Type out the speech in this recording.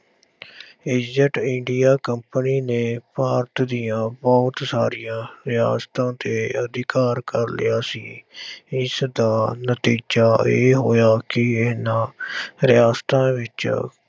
East india company ਨੇ ਭਾਰਤ ਦੀਆਂ ਬਹੁਤ ਸਾਰੀਆਂ ਰਿਆਸਤਾਂ ਤੇੇ ਅਧਿਕਾਰ ਕਰ ਲਿਆ ਸੀ ਇਸਦਾ ਨਤੀਜਾ ਇਹ ਹੋਇਆ ਕਿ ਇਹਨਾਂ ਰਿਆਸਤਾਂ ਵਿੱਚ